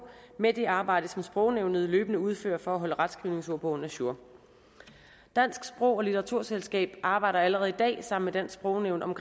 med det arbejde som sprognævnet løbende udfører for at holde retskrivningsordbogen ajour det danske sprog og litteraturselskab arbejder allerede i dag sammen med sprognævnet om